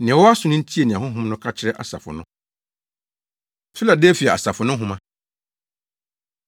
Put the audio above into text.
Nea ɔwɔ aso no ntie nea Honhom no ka kyerɛ asafo no. Filadelfia Asafo No Nhoma